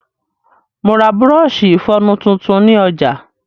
Mo ra bùrọ̀ọ̀ṣi ìfọnu tuntun ni ọ̀jà.